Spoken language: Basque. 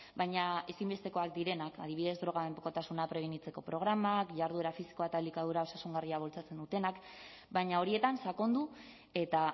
baina ezinbestekoak direnak adibidez droga mendekotasuna prebenitzeko programak jarduera fisikoa eta elikadura osasungarria bultzatzen dutenak baina horietan sakondu eta